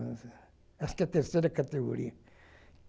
Acho que é terceira categoria.